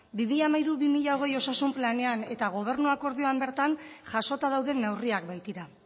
bi mila hamairu bi mila hogei osasun planean eta gobernu akordioan bertan jasota dauden neurriak baitira